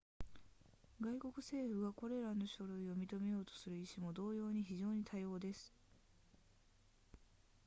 外国政府がこれらの書類を認めようとする意志も同様に非常に多様です